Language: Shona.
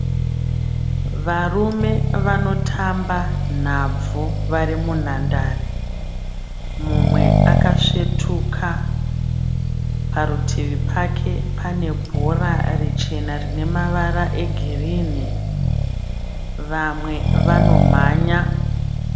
Marume vanotamba nabvu varimunhandare. Mumwe akasvetuka ,parutivi pake panebhora richena rinemavara egirirni, vamwe vanomanya.